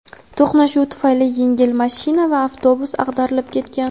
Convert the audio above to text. To‘qnashuv tufayli yengil mashina va avtobus ag‘darilib ketgan.